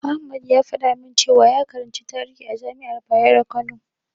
Ahmad ya faɗa min cewa ya karanci tarihi a jami'ar Bayero Kano.